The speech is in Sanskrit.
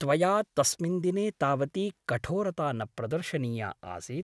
त्वया तस्मिन् दिने तावती कठोरता न प्रदर्शनीया आसीत् ।